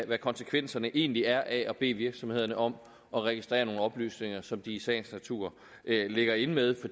hvad konsekvenserne egentlig er af at bede virksomhederne om at registrere nogle oplysninger som de i sagens natur ligger inde med